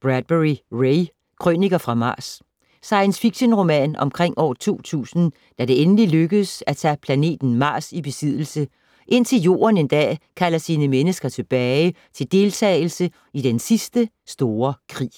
Bradbury, Ray: Krøniker fra Mars Science fiction-roman omkring år 2000 da det endelig lykkes at tage planeten Mars i besiddelse, indtil Jorden en dag kalder sine mennesker tilbage til deltagelse i den sidste store krig.